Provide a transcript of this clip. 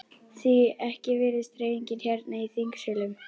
Því ekki virðist hreyfingin hérna í þingsölum?